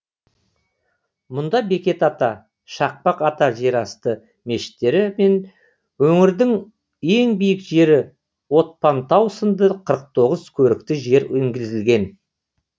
мұнда бекет ата шақпақ ата жерасты мешіттері мен өңірдің ең биік жері отпантау сынды қырық тоғыз көрікті жер енгізілген